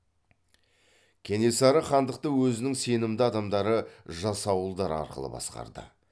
кенесары хандықты өзінің сенімді адамдары жасауылдар арқылы басқарды